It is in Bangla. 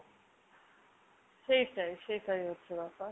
সেইটাই সেইটাই হচ্ছে ব্যাপার।